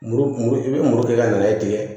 Muru muru i bɛ muru kɛ ka nɛgɛ tigɛ